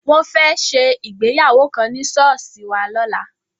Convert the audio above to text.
Wọ́n fẹ́ ṣe ìgbéyàwó kan ní ṣọ́ọ̀ṣì wa lọ́la.